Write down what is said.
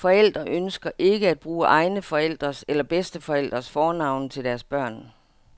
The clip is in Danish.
Forældre ønsker ikke at bruge egne forældres eller bedsteforældres fornavne til deres børn.